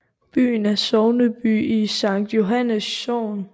Byen er sogneby i Sankt Johannes Sogn